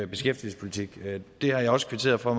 beskæftigelsespolitik det har jeg også kvitteret for